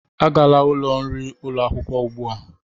Agala ụlọ nri ụlọ akwụkwọ ugbu a!